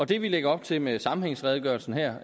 det vi lægger op til med sammenhængsredegørelsen her